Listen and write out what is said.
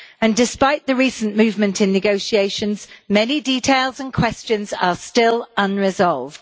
And despite the recent movement in negotiations, many details and questions are still unresolved.